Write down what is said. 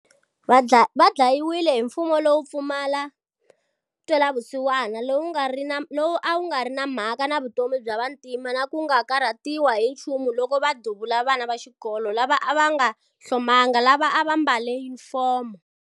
Va dlayiwile hi mfumo lowo pfumala ntwelavusiwana lowu a wu nga ri na mhaka na vutomi bya vantima na ku nga karhatiwi hi nchumu loko va duvula vana va xikolo lava a va nga hlomangi, lava a va mbale yunifomo.